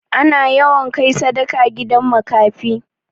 Ana yawan kai sadaka gidan makafi.